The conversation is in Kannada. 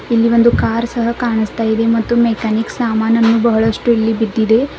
ಇಲ್ಲಿ ಒಂದು ಕಾರ್ ಸಹ ಕಾಣಸ್ತಾಇದೆ ಮತ್ತು ಮೆಕ್ಯಾನಿಕ್ ಸಾಮಾನನ್ನು ಬಹಳಷ್ಟು ಇಲ್ಲಿ ಬಿದ್ದಿದೆ.